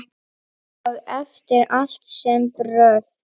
Og eftir allt þetta brölt!